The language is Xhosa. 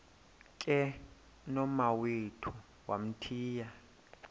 ke nomawethu wamthiya